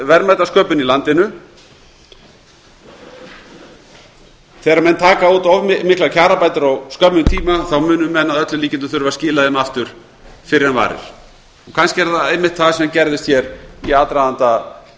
verðmætasköpun í landinu þegar menn taka út of miklar kjarabætur á skömmum tíma munu menn að öllum líkindum þurfa að skila þeim aftur fyrr en varir kannski er það einmitt það sem gerðist hér í aðdraganda